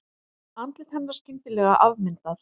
Andlit hennar skyndilega afmyndað.